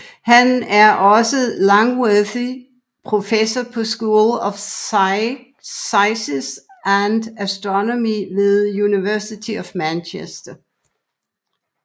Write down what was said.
Han er også Langworthy Professor på School of Physics and Astronomy ved University of Manchester